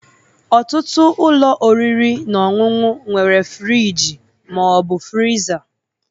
Ọtụtụ ụlọ oriri na ọṅụṅụ nwere friji ma ọ bụ friza